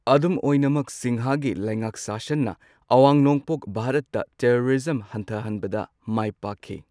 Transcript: ꯑꯗꯨꯝ ꯑꯣꯏꯅꯃꯛ ꯁꯤꯡꯍꯒꯤ ꯂꯩꯉꯥꯛ ꯁꯥꯁꯟꯅ ꯑꯋꯥꯡ ꯅꯣꯡꯄꯣꯛ ꯚꯥꯔꯠꯇ ꯇꯦꯔꯣꯔꯤꯖꯝ ꯍꯟꯊꯍꯟꯕꯗ ꯃꯥꯏ ꯄꯥꯛꯈꯤ꯫